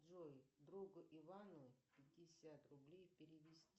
джой другу ивану пятьдесят рублей перевести